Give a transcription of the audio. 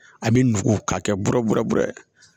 A bi nugu k'a kɛ bɔrɔ bɛ bɛrɛ